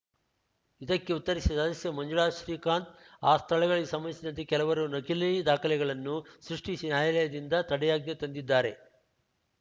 ಇದಕ್ಕೆ ಉತ್ತರಿಸಿದ ಸದಸ್ಯೆ ಮಂಜುಳಾ ಶ್ರೀಕಾಂತ್‌ ಆ ಸ್ಥಳಗಳಿಗೆ ಸಂಬಂಧಿಸಿದಂತೆ ಕೆಲವರು ನಕಲಿ ದಾಖಲೆಗಳನ್ನು ಸೃಷ್ಟಿಸಿ ನ್ಯಾಯಾಲಯದಿಂದ ತಡೆಯಾಜ್ಞೆ ತಂದಿದ್ದಾರೆ